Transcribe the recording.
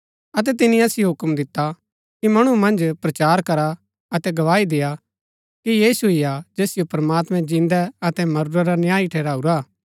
अतै तिनी असिओ हूक्म दिता कि मणु मन्ज प्रचार करा अतै गवाही देय्आ कि यीशु ही हा जैसिओ प्रमात्मैं जिन्दै अतै मरूरै रा न्यायी ठहराऊरा हा